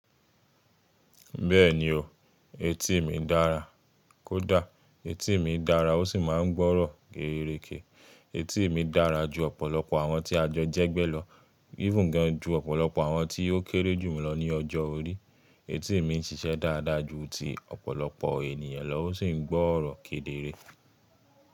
Bẹ́ẹ̀ni o, etí mi dára kódà etí mi dára ó sì máa ń gbọ́rọ̀ gẹ́ẹ́régé. Etí mi dára ju ọ̀pọ̀lọpọ̀ àwọn tí àjọ jẹ́ gbẹ́ lọ, even gan ju ọ̀pọ̀lọpọ̀ àwọn tí ó kéré jù mí lọ ní ọjọ́ orí. Etí mi ń ṣiṣẹ́ dáadáa ju ti ọ̀pọ̀lọpọ̀ ènìyàn lọ ó sì ń gbọ́rọ̀ kedere.